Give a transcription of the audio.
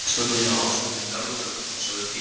Er stóllinn hjá Ásmundi, þjálfara Fylkis orðinn heitur?